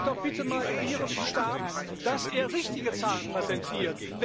Sagen Sie doch bitte mal ihrem Stab, dass er richtige Zahlen präsentiert.